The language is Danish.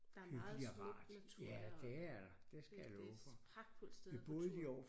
Der er meget smukt natur deroppe det det pragtfuldt sted at gå tur